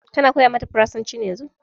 Ka na koya mata farasanci yanzu ne?